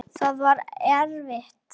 Það var erfitt.